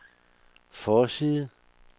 forside